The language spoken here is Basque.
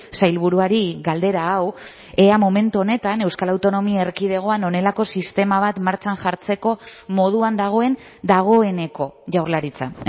sailburuari galdera hau ea momentu honetan euskal autonomia erkidegoan honelako sistema bat martxan jartzeko moduan dagoen dagoeneko jaurlaritza